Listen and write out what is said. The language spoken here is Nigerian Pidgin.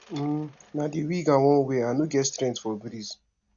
um na wig i wan wear i no get strength for breeze